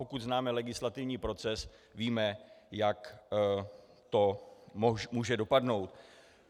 Pokud známe legislativní proces, víme, jak to může dopadnout.